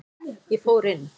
Ég fór inn.